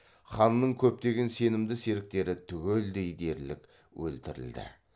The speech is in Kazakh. ханның көптеген сенімді серіктері түгелдей дерлік өлтірілді